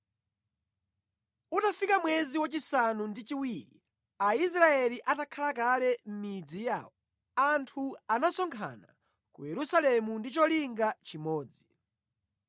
Utafika mwezi wa chisanu ndi chiwiri Aisraeli atakhala kale mʼmidzi yawo, anthu anasonkhana ku Yerusalemu ndi cholinga chimodzi.